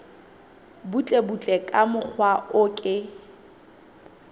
butlebutle ka mokgwa o ke